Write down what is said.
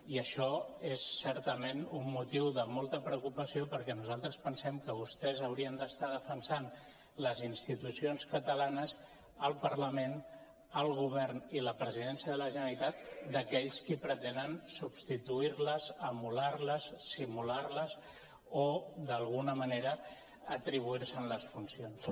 i això és certament un motiu de molta preocupació perquè nosaltres pensem que vostès hau·rien d’estar defensant les institucions catalanes el parlament el govern i la presi·dència de la generalitat d’aquells qui pretenen substituir·les emular·les simular·les o d’alguna manera atribuir·se’n les funcions